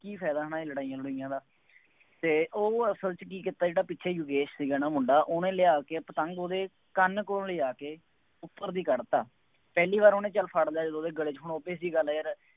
ਕੀ ਫਾਇਦਾ ਇਹਨਾ ਲੜਾਈਆਂ ਲੜੂਈਆਂ ਦਾ, ਅਤੇ ਉਹ ਅਸਲ ਚ ਕੀ ਕੀਤਾ, ਜਿਹੜਾ ਪਿੱਛੇ ਯੋਗੇਸ਼ ਸੀਗਾ ਨਾ ਮੁੰਡਾ ਉਹਨੇ ਲਿਆ ਕੇ ਪਤੰਗ ਉਹਦੇ ਕੰਨ ਕੋਲ ਲਿਜਾ ਕੇ ਉੱਪਰ ਦੀ ਕੱਢ ਤਾ, ਪਹਿਲੀ ਵਾਰ ਉਹਨੇ ਚੱਲ ਫੜ ਲਿਆ ਜਦੋਂ ਉਹਦੇ ਗਲੇ ਕੋਲੋਂ ਹੁਣ obvious ਜਿਹੀ ਗੱਲ ਆ ਯਾਰ